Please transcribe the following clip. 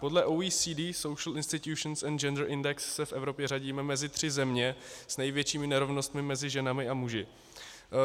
Podle OECD Social Institutions and Gender Index se v Evropě řadíme mezi tři země s největšími nerovnostmi mezi ženami a muži.